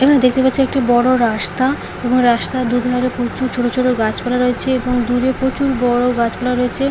এখানে দেখতে পাচ্ছি একটা বড় রাস্তা এবং রাস্তার দুধারে প্রচুর ছোট ছোট গাছপালা রয়েছে এবং দূরে প্রচুর বড় গাছপালা রয়েছে ।